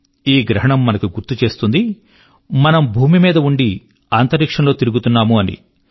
ఈ గ్రహణం మనకు గుర్తు చేస్తుంది మనము భూమి మీద ఉండి అంతరిక్షం లో తిరుగుతున్నాము అని